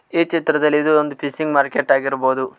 ಈ ಚಿತ್ರದಲ್ಲಿ ಇದು ಒಂದು ಫಿಶಿಂಗ್ ಮಾರ್ಕೆಟ್ ಆಗಿರಬಹುದು.